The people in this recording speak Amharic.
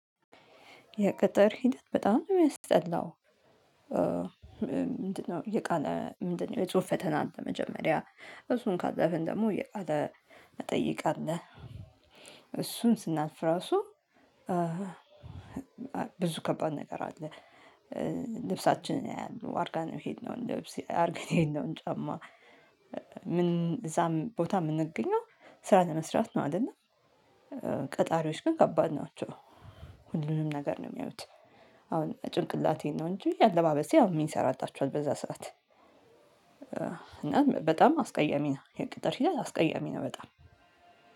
የቅጥር ሂደት በጣም ነው የሚያስጠላው። ምንድነው የቃለ ምንድነው የጽሁፍ ፈተና አለ። መጀመሪያ እሱን ካለፍን ደግሞ የቃለ መጠይቅ አለ። እሱን ስናልፍ እራሱ። ብዙ ከባድ ነገር አለ። ልብሳችንን ያያሉ አርገነው የሄድነውን ልብስ አርገን የሄድነውን ጫማ? ምን እዛም ቦታ የምንገኘው ስራ ለመስራት ነው አይደል? ቀጣሪዎች ግን ከባድ ናቸው። ሁሉንም ነገር ነው የሚያዩት። አሁን ጭንቅላቴን ነው እንጂ አለባበሴ አሁን ምን ይሰራላቸዋል በዛ ሰዓት። በጣም አስቀያሚ ነው። የቅጥር ስርዓት አስቀያሚ ነው። በጣም